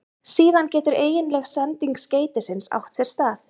Síðan getur eiginleg sending skeytisins átt sér stað.